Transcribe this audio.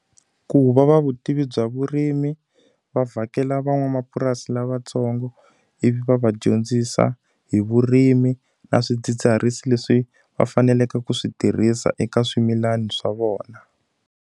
Ku va va vutivi bya vurimi, va vhakela van'wamapurasi lavatsongo ivi va va dyondzisa hi vurimi na swidzidziharisi leswi va faneleke ku swi tirhisa eka swimilani swa vona.